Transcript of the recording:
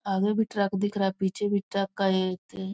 आगे भी ट्रक दिख रहा है पीछे भी एक ट्रक का --